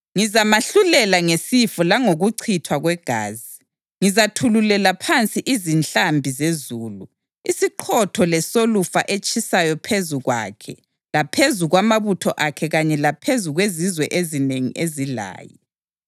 Ngizamahlulela ngesifo langokuchithwa kwegazi; ngizathululela phansi izihlambi zezulu, isiqhotho lesolufa etshisayo phezu kwakhe laphezu kwamabutho akhe kanye laphezu kwezizwe ezinengi ezilaye.